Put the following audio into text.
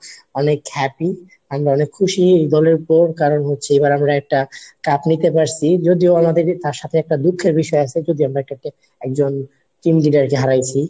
অনেক happy আমরা অনেক খুশি এই দলের উপর কারণ হচ্ছে এবার আমরা একটা cup নিতে পারছি যদিও আমাদেরই তার সাথে একটা দুঃখের বিষয় আছে যদি আমরা এটাকে একজন টিম leader কে হারাইছি